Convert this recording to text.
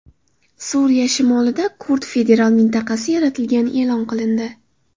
Suriya shimolida kurd federal mintaqasi yaratilgani e’lon qilindi .